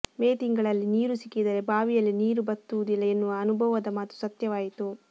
ಮೇ ತಿಂಗಳಲ್ಲಿ ನೀರು ಸಿಕ್ಕಿದರೆ ಬಾವಿಯಲ್ಲಿ ನೀರು ಬತ್ತುವುದಿಲ್ಲ ಎನ್ನುವ ಅನುಭವದ ಮಾತು ಸತ್ಯವಾಯಿತು